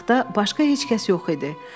Otaqda başqa heç kəs yox idi.